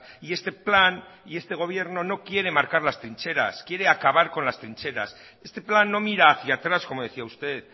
y este plan y este gobierno no quiere marcar las trincheras quiere acabar con las trincheras este plan no mira hacia atrás como decía usted